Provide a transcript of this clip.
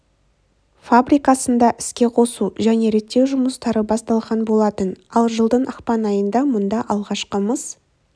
фабрикасында іске қосу және реттеу жұмыстары басталған болатын ал жылдың ақпан айында мұнда алғашқы мыс